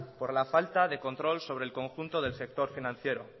por la falta de control sobre el conjunto del sector financiero